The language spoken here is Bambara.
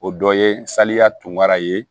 O dɔ ye sariya tungara ye